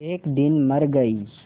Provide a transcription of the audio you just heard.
एक दिन मर गई